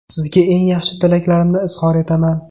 Sizga eng yaxshi tilaklarimni izhor etaman.